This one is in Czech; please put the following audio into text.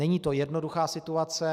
Není to jednoduchá situace.